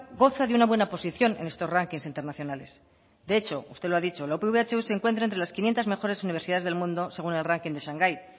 goza de una buena posición en estos rankings internacionales de hecho usted lo ha dicho la upv ehu se encuentra entre las quinientos mejores universidades del mundo según el ranking de shanghai